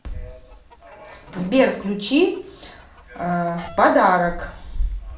сбер включи подарок